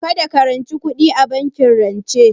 Kada ka ranci kuɗi a bankin rance